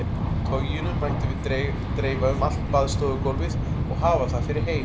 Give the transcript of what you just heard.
Toginu mættum við dreifa um allt baðstofugólfið og hafa það fyrir hey.